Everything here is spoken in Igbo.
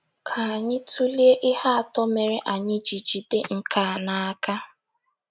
Ka anyị tụlee ihe atọ mere anyị ji jide nke a n’aka.